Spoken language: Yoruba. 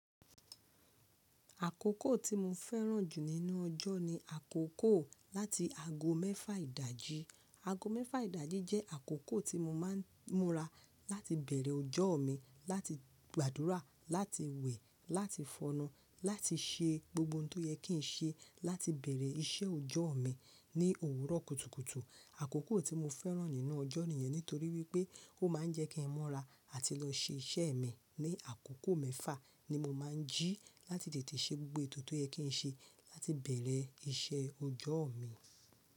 Àkókò tí mo fẹ́ràn jù nínú ọjọ́ ni àkókò láti ago mẹ́fà ìdájí. Ago mẹ́fà ìdájí jẹ́ àkókò tí mo máa ń múra láti bẹ̀rẹ̀ ọjọ́ mi, láti gbàdúrà, láti wẹ̀, láti fọnnu, láti ṣe gbogbo ohun tó yẹ kí n ṣe láti bẹ̀rẹ̀ iṣẹ́ ọjọ́ mi ní òwúrọ̀ kùtùkùtù. Àkókò tí mo fẹ́ràn nínú ọjọ́ nìyẹn nítorí wípé ó máa ń jẹ́ kí n mura àti lọ ṣe iṣẹ́ é mí ni àkókò mẹ́fà ni mo máa ń jí láti tètè ṣe gbogbo ètò tó yẹ kí n ṣe láti bẹ̀rẹ̀ iṣẹ́ ọjọ́ mi.